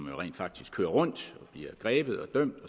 jo rent faktisk kører rundt bliver grebet og dømt